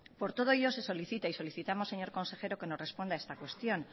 por todo ello se solicita y solicitamos señor consejero que nos responda esta cuestión